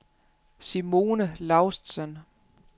Simone Laustsen